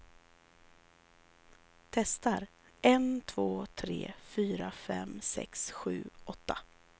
Testar en två tre fyra fem sex sju åtta.